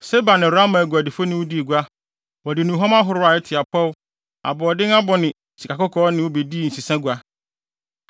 “ ‘Seba ne Raama aguadifo ne wo dii gua; wɔde nnuhuam ahorow a ɛte apɔw, aboɔden abo ne sikakɔkɔɔ ne wo bedii nsesagua.